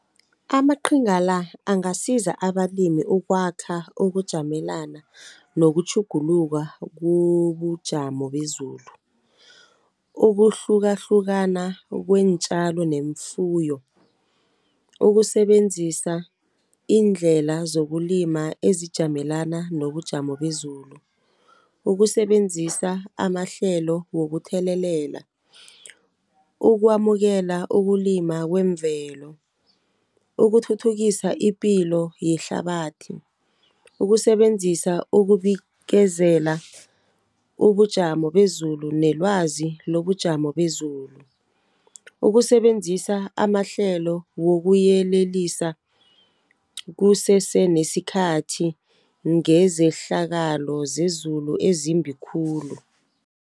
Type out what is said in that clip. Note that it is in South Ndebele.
Amaqhinga la, angasiza abalimi ukwakha ukujamelana nokutjhuguluka kubujamo bezulu, ukuhlukahlukana kweentjalo neemfuyo , ukusebenzisa iindlela zokulima ezijamelena nobujamo bezulu, ukusebenzisa amahlelo wokuthelelela, ukwamukela ukulima kwemvelo, ukuthuthukisa ipilo yehlabathi, ukusebenzisa ukubikezela ubujamo bezulu nelwazi lobujamo bezulu, ukusebenzisa amahlelo wokuyelelisa kuseseneskhathi ngezehlakalo zezulu ezimbi khulu.